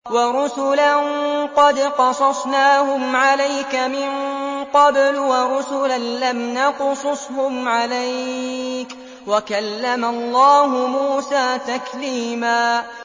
وَرُسُلًا قَدْ قَصَصْنَاهُمْ عَلَيْكَ مِن قَبْلُ وَرُسُلًا لَّمْ نَقْصُصْهُمْ عَلَيْكَ ۚ وَكَلَّمَ اللَّهُ مُوسَىٰ تَكْلِيمًا